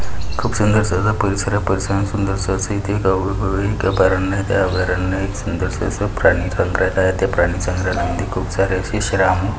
खूप सुंदर अस परिसर आहे परिसर मध्ये सुंदर असा अभयारण्य आहेत. त्या अभियारण्यात एक सुंदर अस प्राणी संग्रहालय आहेत. ते प्राणी संग्रहालया मध्ये खूप सारे असे श्राम--